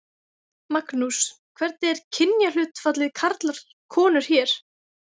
Magnús: Hvernig er kynjahlutfallið karlar konur hér?